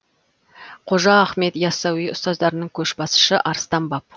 қожа ахмет яссауи ұстаздарының көшбасшысы арыстан баб